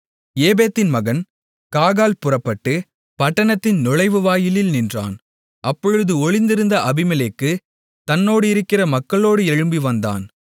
ஏபேதின் மகன் காகால் புறப்பட்டு பட்டணத்தின் நுழைவுவாயிலில் நின்றான் அப்பொழுது ஒளிந்திருந்த அபிமெலேக்கு தன்னோடிருக்கிற மக்களோடு எழும்பி வந்தான்